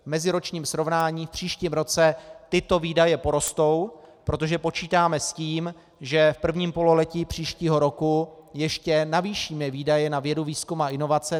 V meziročním srovnání v příštím roce tyto výdaje porostou, protože počítáme s tím, že v prvním pololetí příštího roku ještě navýšíme výdaje na vědu, výzkum a inovace.